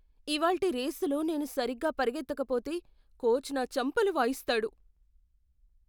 ఇవాల్టి రేసులో నేను సరిగ్గా పరిగెత్తకపోతే కోచ్ నా చెంపలు వాయిస్తాడు.